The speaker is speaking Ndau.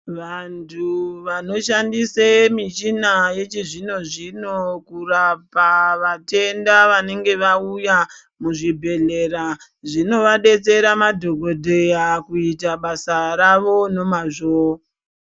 Vantu vanoshandisa michina yechizvino zvino kurapa vatenda vanenge vauya muzvibhedhlera zvinovadetsera madhokoteya kuita basa rawo nomazvo.